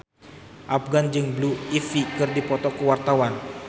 Afgan jeung Blue Ivy keur dipoto ku wartawan